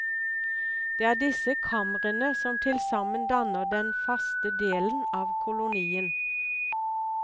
Det er disse kamrene som tilsammen danner den faste delen av kolonien.